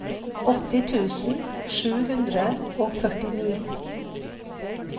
åtti tusen sju hundre og førtini